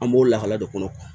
An b'o lahala de kɔnɔ